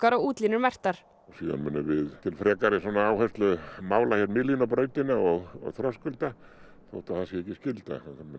og útlínur merktar síðan munum við til áherslu mála hér miðlínu og og þröskulda þó það sé ekki skylda